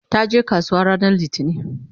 taje kasuwa ranar littani